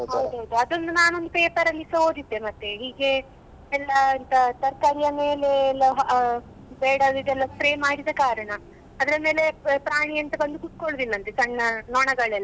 ಹೌದೌದು ಅದೊಂದು ನಾನ್ ಒಂದು paper ಅಲ್ಲಿಸ ಓದಿದ್ದೆ ಮತ್ತೆ ಹೀಗೆ ಎಲ್ಲ ಎಂತ ತರ್ಕಾರಿಯ ಮೇಲೆ ಎಲ್ಲ ಅ ಬೇಡಾಡಿದ್ದೆಲ್ಲಾ spray ಮಾಡಿದ ಕಾರಣ ಅದ್ರ ಮೇಲೆ ಪ್ರಾಣಿ ಎಂತ ಬಂದು ಕುತ್ಕೊಳ್ಳುದಿಲ್ಲ ಅಂತೆ ಸಣ್ಣ ನೊಣಗಳೆಲ್ಲಾ